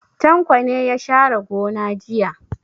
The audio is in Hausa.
Tanko ne ya share gona jiya.